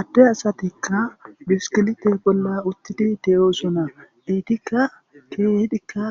Adde asatikka biskilite bolla uttidi de7osona eitikka keehidikka